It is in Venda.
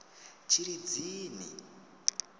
tshilidzini